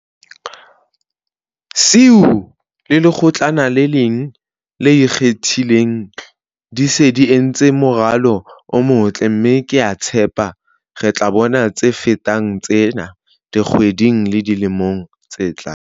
SIU le Lekgotlana lena le Ikgethileng di se di entse moralo o motle, mme ke a tshepa re tla bona tse fetang tsena dikgweding le dilemong tse tlang.